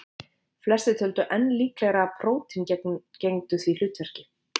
Flestir töldu enn líklegra að prótín gegndu því hlutverki.